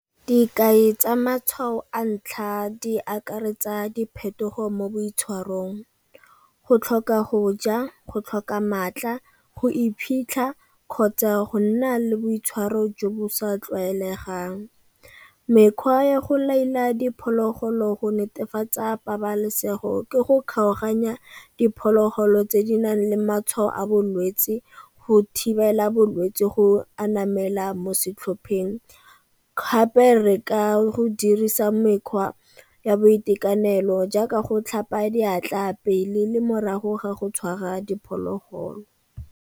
Dikai tsa matshwao a ntlha di akaretsa diphetogo mo boitshwarong, go tlhoka go ja go tlhoka maatla, go iphitlha kgotsa go nna le boitshwaro jo bo sa tlwaelegang. Mekgwa ya go laola diphologolo go netefatsa pabalesego ke go kgaoganya diphologolo tse di nang le matshwao a bolwetsi go thibela bolwetse go anamela mo setlhopheng. Gape re ka go dirisa mekgwa ya boitekanelo jaaka go tlhapa diatla pele le morago ga go tshwara diphologolo.